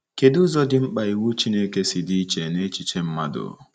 Kedụ ụzọ dị mkpa iwu Chineke si dị iche n’echiche mmadụ?